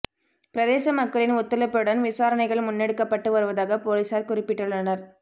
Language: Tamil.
பிரதேச மக்களின் ஒத்துழைப்புடன் விசாரணைகள் முன்னெடுக்கப்பட்டு வருவதாக பொலிஸார் குறிப்பிட்டுள்ளனர்